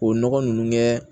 O nɔgɔ nunnu kɛ